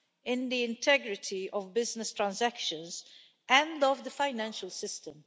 in the integrity of business transactions and of the financial system.